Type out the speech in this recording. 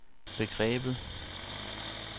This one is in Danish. begrebet